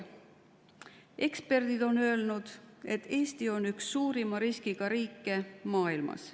Eksperdid on öelnud, et Eesti on üks suurima riskiga riike maailmas.